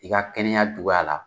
I ka kɛnɛya juguya la